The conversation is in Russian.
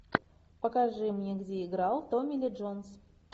покажи мне где играл томми ли джонс